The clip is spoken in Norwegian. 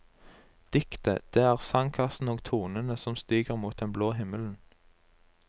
Diktet, det er sangkassen og tonene som stiger mot den blå himmelen.